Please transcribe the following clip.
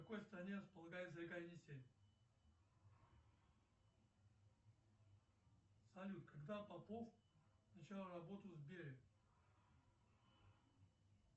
в какой стране располагается река енисей салют когда попов начал работу в сбере